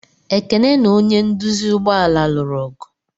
Ekene na onye nduzi ụgbọ ala lụrụ ọgụ.